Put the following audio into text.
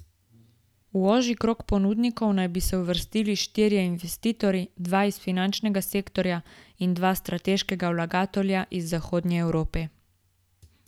V ožji krog ponudnikov naj bi se uvrstili štirje investitorji, dva iz finančnega sektorja in dva strateška vlagatelja iz zahodne Evrope.